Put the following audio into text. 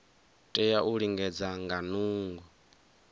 tea u lingedza nga nungo